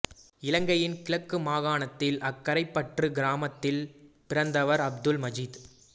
இலங்கையின் கிழக்கு மாகாணத்தில் அக்கரைப்பற்று கிராமத்தில் பிறந்தவர் அப்துல் மஜீத்